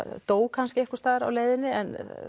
dó það kannski einhvers staðar á leiðinni en